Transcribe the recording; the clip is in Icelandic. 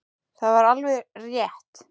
Það var alveg rétt.